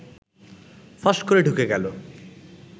ফস করে ঢুকে গেল